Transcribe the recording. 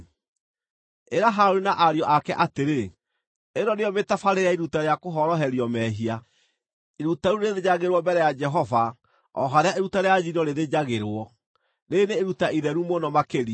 “Ĩra Harũni na ariũ ake atĩrĩ, ‘Ĩno nĩyo mĩtabarĩre ya iruta rĩa kũhoroherio mehia: Iruta rĩu rĩrĩthĩnjagĩrwo mbere ya Jehova o harĩa iruta rĩa njino rĩthĩnjagĩrwo; rĩĩrĩ nĩ iruta itheru mũno makĩria.